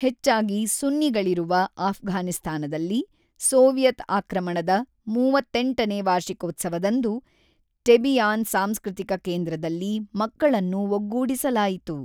ಹೆಚ್ಚಾಗಿ ಸುನ್ನಿಗಳಿರುವ ಅಫ್ಘಾನಿಸ್ತಾನದಲ್ಲಿ ಸೋವಿಯತ್ ಆಕ್ರಮಣದ ಮೂವತ್ತೆಂಟನೇ ವಾರ್ಷಿಕೋತ್ಸವದಂದು ಟೆಬಿಯಾನ್ ಸಾಂಸ್ಕೃತಿಕ ಕೇಂದ್ರದಲ್ಲಿ ಮಕ್ಕಳನ್ನು ಒಗ್ಗೂಡಿಸಲಾಯಿತು.